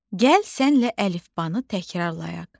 Gəl sənlə əlifbanı təkrarlayaq.